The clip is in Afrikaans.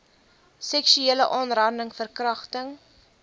seksuele aanranding verkragting